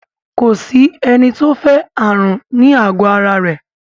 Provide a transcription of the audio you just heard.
Ko sí ẹni tó fẹ́ ààrùn ní àgọ ara rẹ̀